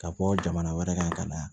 Ka bɔ jamana wɛrɛ kan ka na